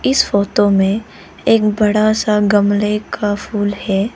इस फोटो में एक बड़ा सा गमले का फूल है।